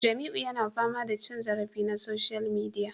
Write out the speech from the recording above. Jamiu yana fama da cin zarafi na social media